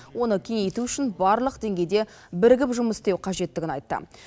оны кеңейту үшін барлық деңгейде бірігіп жұмыс істеу қажеттігін айтты